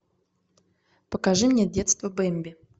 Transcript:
покажи мне детство бемби